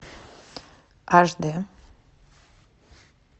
аш дэ